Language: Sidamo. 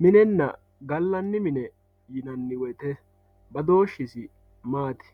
Minena galani mine yinani woyite nadooshisi maati